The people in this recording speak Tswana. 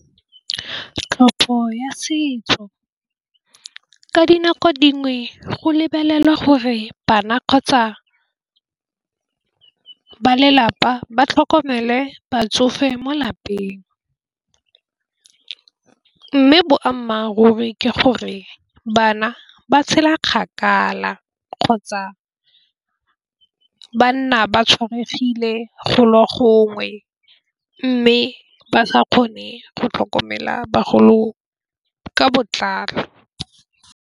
Tlhopho ya setso ka dinako dingwe go lebelelwa gore bana kgotsa, ba lelapa ba tlhokomele batsofe mo lapeng, mme boammaaruri ke gore bana ba tshela kgakala, kgotsa ba nna ba tshwaregile go le gongwe mme ba sa kgone go tlhokomela bagolo ka botlalo.